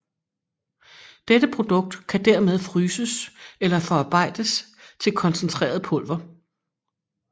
Dette produkt kan dermed fryses eller forarbejdes til koncentreret pulver